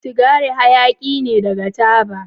Sigari hayaki ne daga taba.